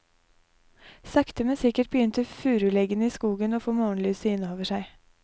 Sakte men sikkert begynte furuleggene i skogen å få morgenlyset inn over seg.